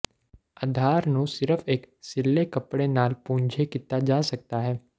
ਅਧਾਰ ਨੂੰ ਸਿਰਫ਼ ਇੱਕ ਸਿੱਲ੍ਹੇ ਕੱਪੜੇ ਨਾਲ ਪੂੰਝੇ ਕੀਤਾ ਜਾ ਸਕਦਾ ਹੈ